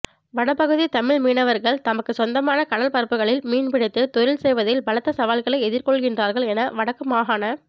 வடபகுதி தமிழ் மீனவர்கள் தமக்குச் சொந்தமான கடற்பரப்புக்களில் மீன்பிடித் தொழில் செய்வதில் பலத்த சவால்களை எதிர்கொள்கின்றார்கள் என வடக்கு மாகாண